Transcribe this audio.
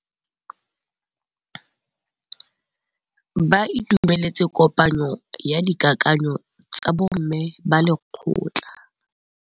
Ba itumeletse kôpanyo ya dikakanyô tsa bo mme ba lekgotla.